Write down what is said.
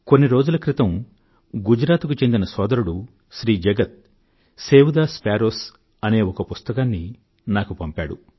కొన్ని రోజుల క్రితం గుజరాత్ కు చెందిన సోదరుడు Shri Jagat save the sparrows అనే ఒక పుస్తకాన్ని నాకు పంపాడు